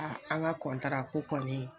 an ka ko kɔni.